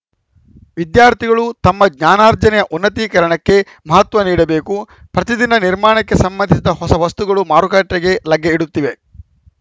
ವಿದ್ಯಾರ್ಥಿಗಳು ತಮ್ಮ ಜ್ಞಾನಾರ್ಜನೆಯ ಉನ್ನತೀಕರಣಕ್ಕೆ ಮಹತ್ವ ನೀಡಬೇಕು ಪ್ರತಿದಿನ ನಿರ್ಮಾಣಕ್ಕೆ ಸಂಬಂಧಿಸಿದ ಹೊಸ ವಸ್ತುಗಳು ಮಾರುಕಟ್ಟೆಗೆ ಲಗ್ಗೆ ಇಡುತ್ತಿವೆ